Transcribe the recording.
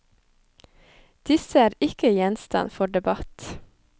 Disse er ikke gjenstand for debatt.